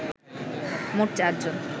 মোট চারজন